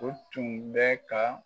O tun bɛ ka